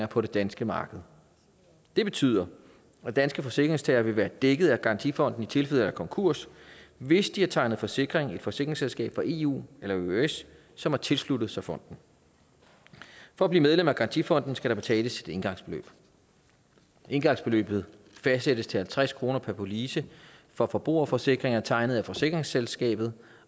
på de danske marked det betyder at danske forsikringstagere vil være dækket af garantifonden i tilfælde af konkurs hvis de har tegnet forsikring i et forsikringsselskab fra eu eller eøs som har tilsluttet sig fonden for at blive medlem af garantifonden skal der betales et engangsbeløb engangsbeløbet fastsættes til halvtreds kroner per police for forbrugerforsikringer tegnet af forsikringsselskabet